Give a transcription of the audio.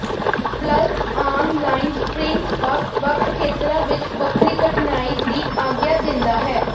plus online springs ਵੱਖ ਵੱਖ ਖੇਤਰਾਂ ਵਿੱਚ ਵੱਖਰੀ ਕਠਨਾਈ ਦੀ ਆਗਿਆ ਦਿੰਦਾ ਹੈ